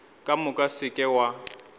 ka moka se ke wa